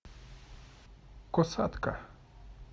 касатка